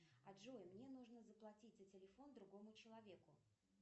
джой мне нужно заплатить за телефон другому человеку